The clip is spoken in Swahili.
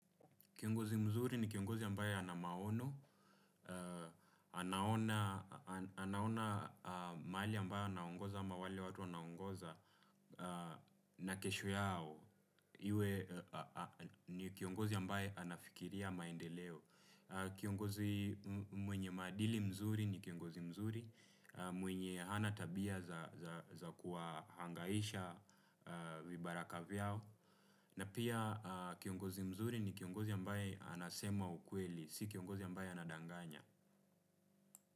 Kiongozi mzuri ni kiongozi ambaye anamaono, anaona mali ambaye anaongoza ama wale watu anaengoza na kesho yao. Iwe ni kiongozi ambaye anafikiria maendeleo. Kiongozi mwenye madili mzuri ni kiongozi mzuri, mwenye hana tabia za kuahangaisha vibaraka vyao. Na pia kiongozi mzuri ni kiongozi ambaye anasema ukweli, si kiongozi ambaye anadanganya.